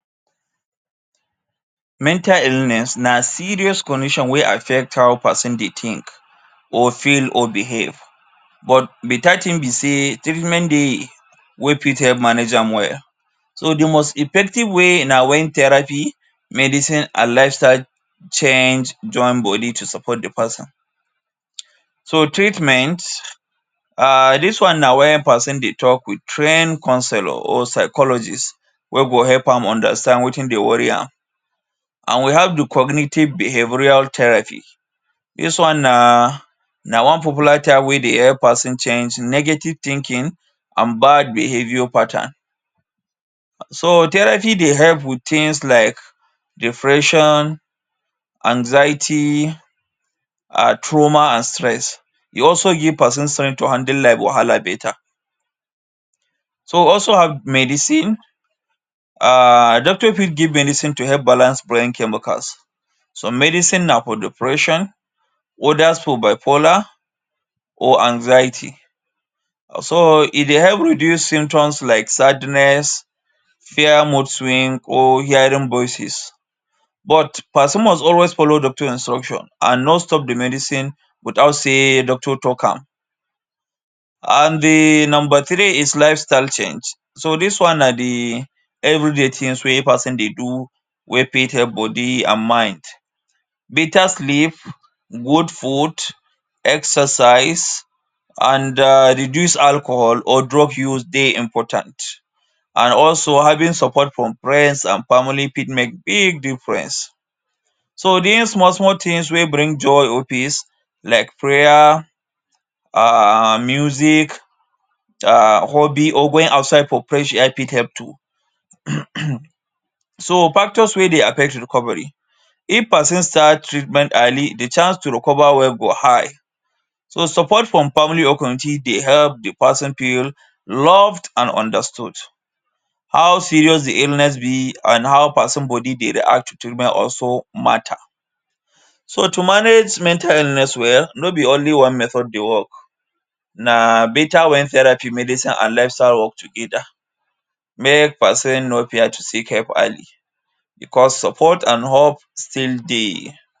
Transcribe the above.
Mental illness na serious condition wey affect how peson dey think or feel or behave, but beta tin be sey treatment dey wey fit help manage am well. So, the most effective way na wen therapy, medicine and lifestyle change join body to support the peson. So, treatment um dis one na wen peson dey talk with train counsellor or psychologist wey go help am understand wetin dey worry am. And we have the cognitive behavioural therapy. Dis one na na one popular type wey dey help peson change negative thinking and bad behaviour pattern. So, therapy dey help with tins like depression, anxiety, um trauma, and stress. E also give peson strength to handle life wahala beta. So, also have medicine. um Doctor fit give medicine to help balance brain chemicals. So, medicine na for depression, others for bipolar or anxiety. So, e dey help reduce symptoms like sadness, fear, mood swing, or hearing voices, but peson must always follow doctor instruction and not stop the medicine without sey doctor talk am. And the nomba three is lifestyle change. So, dis one na the everyday tin wey peson dey do wey fit help body and mind. Beta sleep, good food, exercise, and um reduce alcohol or drug use dey important. And also, having support from friends and family fit make big difference. So, doing small-small tins wey bring joy or peace like prayer, um music, um hobby or going outside for freah air fit help too. um. So, factors wey dey affect recovery. If peson start treatment early, the chance to recover well go high. So, support from family or community dey help the peson feel loved and understood. How serious the illness be and how peson body dey react to treatment also matter. So, to manage mental illness well, no be only one method dey work. Na beta wen therapy, medicine, and lifestyle work together. Make peson no fear to seek help early becos support and hope still dey.